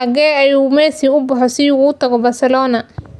Xagee ayuu Messi u baxo si uu uga tago Barcelona?